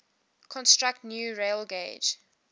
construct new railgauge